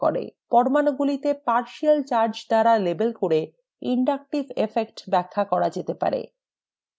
পরমাণুগুলিকে partial charge দ্বারা label করে inductive effect ব্যাখ্যা করা যেতে পারে